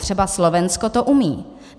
Třeba Slovensko to umí.